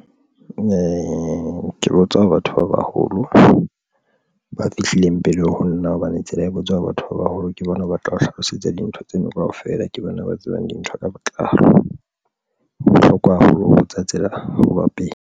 Ee, ke botsa batho ba baholo ba fihlileng pele ho nna hobane tsela e botswa ho batho ba baholo ke bona ba tla o hlalosetsa dintho tsena kaofela, ke bona ba tsebang dintho ka botlalo. Ho bohlokwa haholo tsa tsela hoba pele.